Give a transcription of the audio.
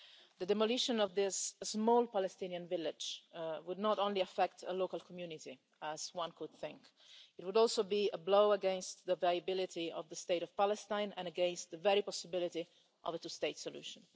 The demolition of this small Palestinian village would not only affect a local community, as one would think it would also be a blow against the viability of the State of Palestine and against the very possibility of a two state solution.